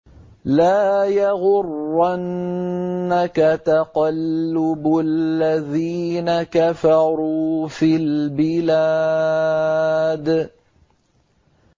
لَا يَغُرَّنَّكَ تَقَلُّبُ الَّذِينَ كَفَرُوا فِي الْبِلَادِ